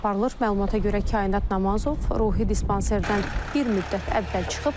Məlumata görə Kainat Namazov ruhi dispanserdən bir müddət əvvəl çıxıb.